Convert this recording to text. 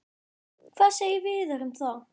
Hvað segir Viðar um það?